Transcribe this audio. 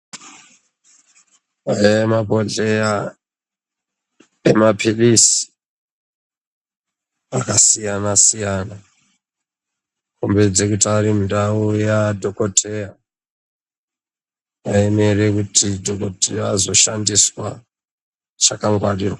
Eeeh mapotseya emapilizi akasiyana siyana. Momboedza kunyari mundau yadhokodheya aemere kuti dhokoteya azoshandiswa zvakangwarirwa.